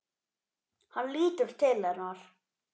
Hann lítur til hennar.